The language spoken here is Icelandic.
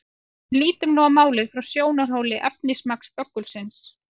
En lítum nú á málið frá sjónarhóli efnismagns böggulsins.